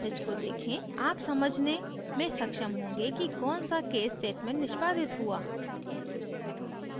आप समझने में सक्षम होंगे कि कौन सा case statement निष्पादित हुआ